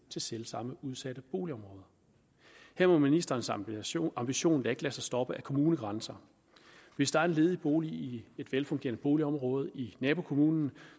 til selv samme udsatte boligområder her må ministerens ambition ambition da ikke lade sig stoppe af kommunegrænser hvis der er en ledig bolig i et velfungerende boligområde i nabokommunen